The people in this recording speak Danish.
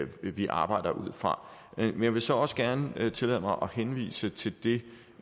vi arbejder ud fra men jeg vil så også gerne tillade mig at henvise til det